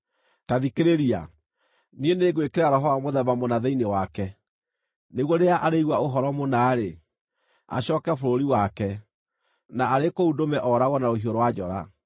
Ta thikĩrĩria! Niĩ nĩngwĩkĩra roho wa mũthemba mũna thĩinĩ wake, nĩguo rĩrĩa arĩigua ũhoro mũna-rĩ, acooke bũrũri wake, na arĩ kũu ndũme ooragwo na rũhiũ rwa njora.’ ”